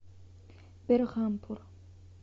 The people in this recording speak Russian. берхампур